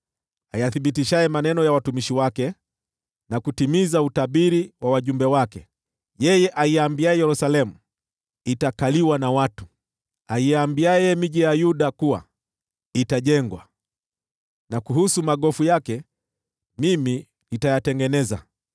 niyathibitishaye maneno ya watumishi wake, na kutimiza utabiri wa wajumbe wake, “niambiaye Yerusalemu, ‘Itakaliwa na watu,’ niambiaye miji ya Yuda kuwa, ‘Itajengwa,’ na kuhusu magofu yake, ‘Mimi nitayatengeneza,’